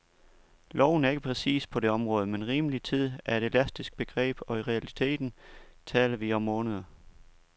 Loven er ikke præcis på det område, men rimelig tid er et elastisk begreb, og i realiteten taler vi om måneder.